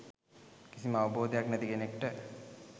කිසිම අවබෝධයක් නැති කෙනෙක්ට